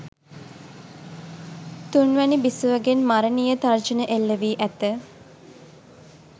තුන්වැනි බිසවගෙන් මරණීය තර්ජන එල්ල වී ඇත.